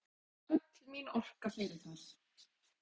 Öll mín orka fer í það.